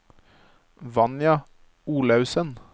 Vanja Olaussen